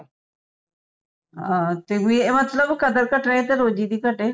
ਹਾਂ ਤੇ ਮਤਲਬ ਜੇ ਕਦਰ ਘਟੇ ਤੇ ਰੋਜ਼ੀ ਦੀ ਘਟੇ